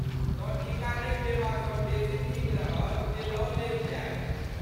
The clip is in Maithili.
तँ टीका नहि लेबासँ बेसी नीक रहत जे लऽ लेल जाय।